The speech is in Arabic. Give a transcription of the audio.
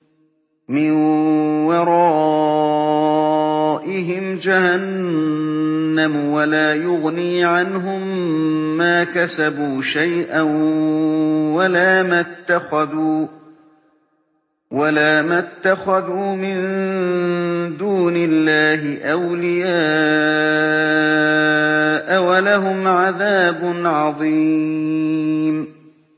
مِّن وَرَائِهِمْ جَهَنَّمُ ۖ وَلَا يُغْنِي عَنْهُم مَّا كَسَبُوا شَيْئًا وَلَا مَا اتَّخَذُوا مِن دُونِ اللَّهِ أَوْلِيَاءَ ۖ وَلَهُمْ عَذَابٌ عَظِيمٌ